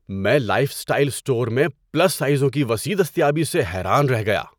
میں lifestyle store میں plus سائزوں کی وسیع دستیابی سے حیران رہ گیا۔